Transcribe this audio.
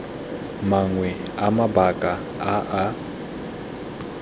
mangwe a mabaka a a